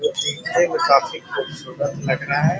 देखने मे काफी खुबसूरत लग रहा है ।